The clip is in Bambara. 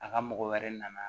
A ka mɔgɔ wɛrɛ nana